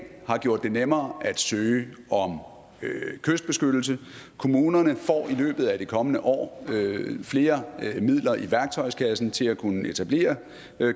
har gjort det nemmere at søge om kystbeskyttelse kommunerne får i løbet af det kommende år flere midler i værktøjskassen til at kunne etablere